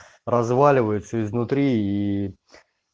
разваливаются изнутри и